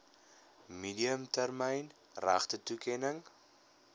medium termyn regtetoekenning